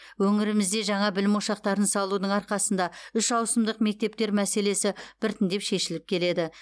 өңірімізде жаңа білім ошақтарын салудың арқасында үш ауысымдық мектептер мәселесі біртіндеп шешіліп келеді